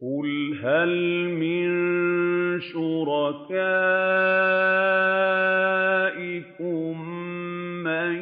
قُلْ هَلْ مِن شُرَكَائِكُم مَّن